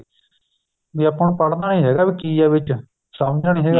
ਵੀ ਆਪਾਂ ਪੜ੍ਹਨਾ ਨੀ ਹੈਗਾ ਵੀ ਕੀ ਏ ਵਿੱਚ ਸਮਝਣਾ ਨੀ ਹੈਗਾ